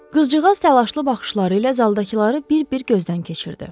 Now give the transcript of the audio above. Qızcığaz təlaşlı baxışları ilə zaldakıları bir-bir gözdən keçirdi.